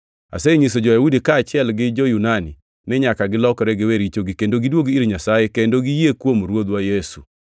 Asenyiso jo-Yahudi kaachiel gi jo-Yunani ni nyaka gilokre giwe richogi kendo gidwog ir Nyasaye kendo giyie kuom Ruodhwa Yesu.